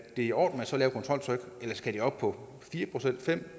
i orden med så lavt et kontroltryk eller skal det op på fire fem